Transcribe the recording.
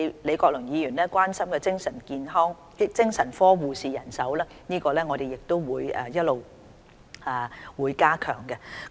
李國麟議員關心精神科的護士人手問題，我們亦會一直加強。